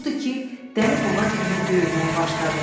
Odur ki, dəli buğa kimi böyürməyə başladı.